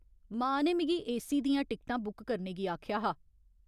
मां ने मिगी एसी दियां टिकटां बुक करने गी आखेआ हा।